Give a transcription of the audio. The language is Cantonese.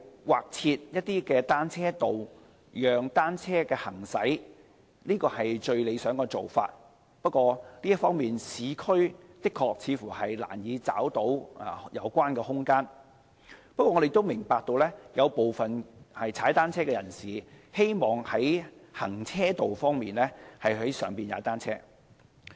劃設單車道讓單車行駛是最理想的做法，不過在這方面，市區的確是難以找到有關的空間，但我們亦明白有部分騎單車人士希望在行車道上踏單車。